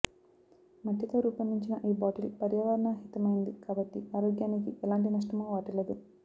మట్టితో రూపొందించిన ఈ బాటిల్ పర్యావరణహితమైంది కాబట్టి ఆరోగ్యానికి ఎలాంటి నష్టమూ వాటిల్లదు